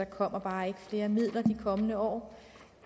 kommer flere midler de kommende år